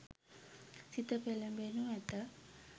සිත පෙළඹෙනු ඇත.